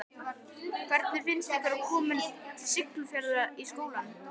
Lóa: Hvernig finnst ykkur að koma til Siglufjarðar í skólann?